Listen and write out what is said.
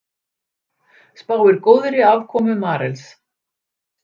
Spáir góðri afkomu Marels